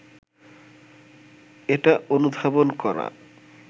এটা অনুধাবন করা